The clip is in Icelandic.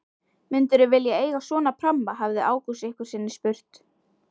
Myndirðu vilja eiga svona pramma? hafði Ágúst einhverju sinni spurt.